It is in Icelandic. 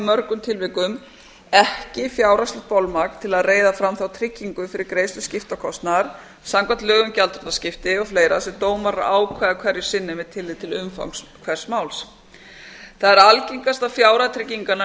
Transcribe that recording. mörgum tilvikum ekki fjárhagslegt bolmagn til að reiða fram þá tryggingu fyrir greiðslu skiptakostnaðar samkvæmt lögum um gjaldþrotaskipti og fleira sem dómarar ákveða hverju sinni með tilliti til umfangs hvers máls það er algengast að fjárhæð trygginganna